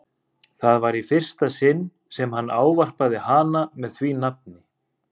Það var í fyrsta sinn sem hann ávarpaði hana með því nafni.